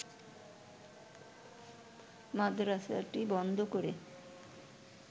মাদ্রাসাটি বন্ধ করে